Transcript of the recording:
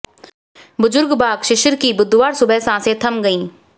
बुजुर्ग बाघ शिशिर की बुधवार सुबह सांसें थम गईं